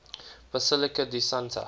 basilica di santa